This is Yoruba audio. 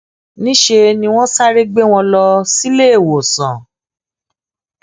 níṣẹ ni wọn sáré gbé wọn lọ síléèwòsàn